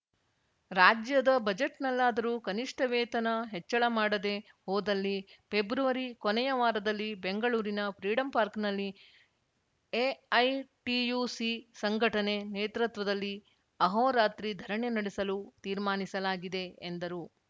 ರಾಜ್ಯದ ಬಜೆಟ್‌ನಲ್ಲಾದರು ಕನಿಷ್ಟವೇತನ ಹೆಚ್ಚಳ ಮಾಡದೆ ಹೋದಲ್ಲಿ ಪೆಬ್ರವರಿ ಕೊನೆಯ ವಾರದಲ್ಲಿ ಬೆಂಗಳೂರಿನ ಫ್ರೀಡಂಪಾರ್ಕ್ನಲ್ಲಿ ಎಐಟಿಯುಸಿ ಸಂಘಟನೆ ನೇತೃತ್ವದಲ್ಲಿ ಆಹೋರಾತ್ರಿ ಧರಣಿ ನಡೆಸಲು ತೀರ್ಮಾನಿಸಲಾಗಿದೆ ಎಂದರು